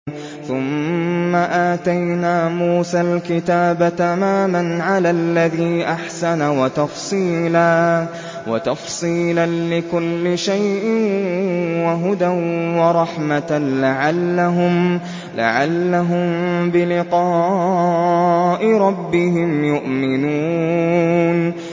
ثُمَّ آتَيْنَا مُوسَى الْكِتَابَ تَمَامًا عَلَى الَّذِي أَحْسَنَ وَتَفْصِيلًا لِّكُلِّ شَيْءٍ وَهُدًى وَرَحْمَةً لَّعَلَّهُم بِلِقَاءِ رَبِّهِمْ يُؤْمِنُونَ